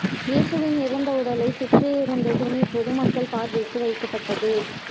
இயேசுவின் இறந்த உடலை சுற்றியிருந்த துணி பொது மக்கள் பார்வைக்கு வைக்கப்பட்டது